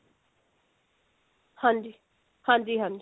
ਹਾਂਜੀ ਹਾਂਜੀ ਹਾਂਜੀ